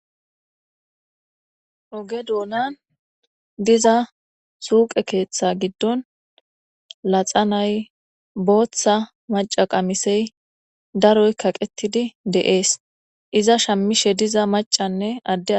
Oge doonan diza suuqe keeththe giddon laxa nay booththa maca qamisey daroy kaqettidi deees iza shammishe diza macanne adde.